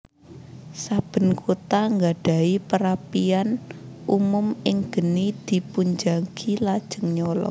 Saben kota ngadahi perapian umum in geni dipunjagi lajeng nyala